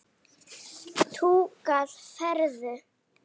Túkall færðu!